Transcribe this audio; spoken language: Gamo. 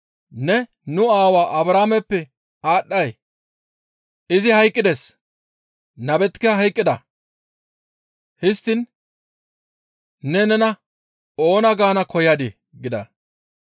Ne nu aawaa Abrahaameppe aadhdhay? Izi hayqqides; nabetikka hayqqida; histtiin ne nena oona gaana koyadii?» gida.